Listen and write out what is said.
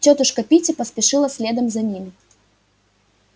тётушка питти поспешила следом за ними